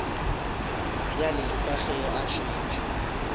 bjale ka ge a šetše